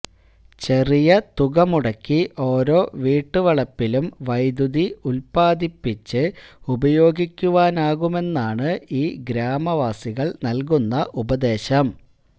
ചെറിയ തുക മുടക്കി ഓരോ വീട്ടുവളപ്പിലും വൈദ്യുതി ഉത്പാദിപ്പിച്ച് ഉപയോഗിക്കുവാനാകുമെന്നാണ് ഈ ഗ്രാമവാസികള് നല്കുന്ന ഉപദേശം